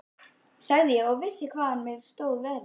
sagði ég og vissi ekki hvaðan á mig stóð veðrið.